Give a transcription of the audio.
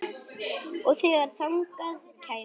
Og þegar þangað kæmi.